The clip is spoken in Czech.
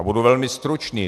A budu velmi stručný.